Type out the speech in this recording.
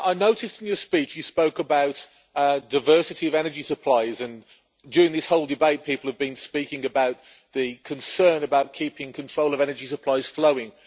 I noticed that in your speech you spoke about diversity of energy supplies, and during this whole debate people have been speaking about the concern about keeping control of energy supplies flowing.